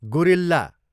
guerrilla